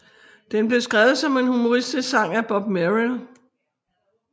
Den blev skrevet som en humoristisk sang af Bob Merrill